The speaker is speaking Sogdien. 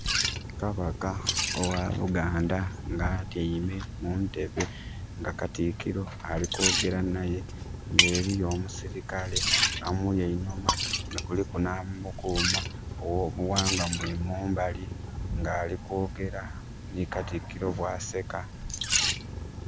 Kabaka owa Buganda nga atiame mu ntebbe nga katikirro ali kwogera naye nga eriyo omusirikale amuli einhuma, kuliku na mukuuma owo buwangwa mule mumbali ng' ali kwogera ni katikirro bwaseka